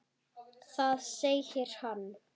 Þar segir hann